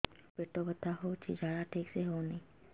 ମୋ ପେଟ ବଥା ହୋଉଛି ଝାଡା ଠିକ ସେ ହେଉନି